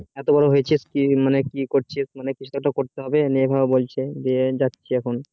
এতো বড়ো হয়েছিস কি জন্য কি করছিস মানে কিছু একটা করতে হবে নে এই ভাবে বলছে দিয়ে যাচ্ছে এখন